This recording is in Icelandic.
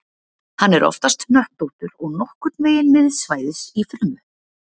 Hann er oftast hnöttóttur og nokkurn veginn miðsvæðis í frumu.